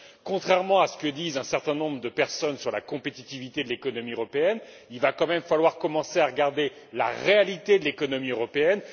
Contrairement à ce que disent un certain nombre de personnes sur la compétitivité de l'économie européenne, il va quand même falloir commencer à regarder la réalité de l'économie européenne.